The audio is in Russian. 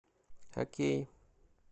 окей